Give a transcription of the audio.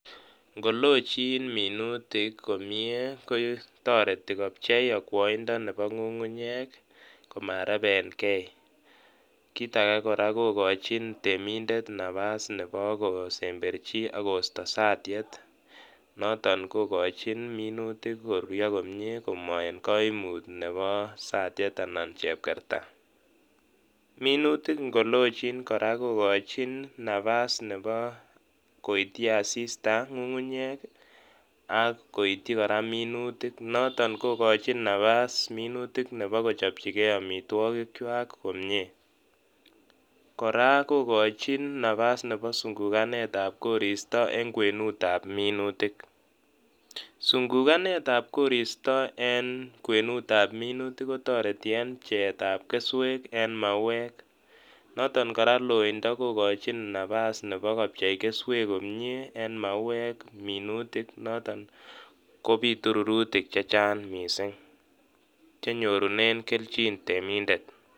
Ng'ololchin minutik komie kotoreti kopchei okwoindo nebo ng'ung'unyek komarebenge, kiit akee kora kokochin temindet nabas nebo kosemberchi akosto satiet, noton kokochin minutik koruryo komie Komo en koimut nebo satiet anan chepkerta. Minutik ing'olochin kora kokochin nabas nebo koityi asista ng'ung'unyek ak koityi kora minutik, noton kokochin nabas minutik nebo kochopchikee omitwokikwak komie, kora kokochin nabas nebo sung'ukanetab koristo en kwenutab minutik, sung'ukanetab koristo en kwenutab minutik kotoreti en pcheetab keswek en mauek, noton kora loindo kokochin nabas nebo kopchei keswek komie en mauek minutik noton kobitu rurutik chechang mising chenyorunen kelchin temindet.